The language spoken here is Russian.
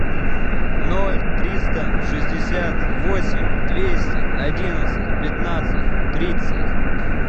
ноль триста шестьдесят восемь двести одиннадцать пятнадцать тридцать